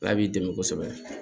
Ala b'i dɛmɛ kosɛbɛ